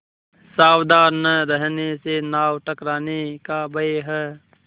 सावधान न रहने से नाव टकराने का भय है